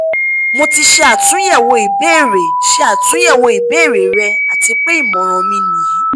mo ti ṣe atunyẹwo ibeere ṣe atunyẹwo ibeere rẹ ati pe imọran mi niyi